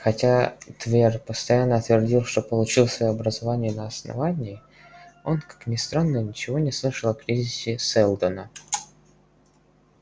хотя твер постоянно твердил что получил своё образование на основании он как ни странно ничего не слышал о кризисе сэлдона